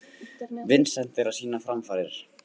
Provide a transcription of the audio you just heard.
Vincent er að sýna framfarir.